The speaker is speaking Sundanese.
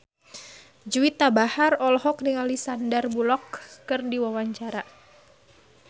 Juwita Bahar olohok ningali Sandar Bullock keur diwawancara